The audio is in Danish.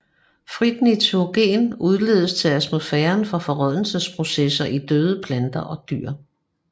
Frit nitrogen udledes til atmosfæren fra forrådnelsesprocesser i døde planter og dyr